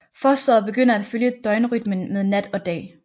Fosteret begynder at følge døgnrytmen med nat og dag